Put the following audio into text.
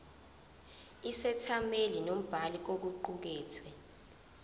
isethameli nombhali kokuqukethwe